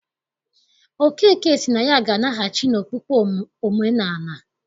Okeke sị na ya ga-anaghachi n'okpukpe omenaala.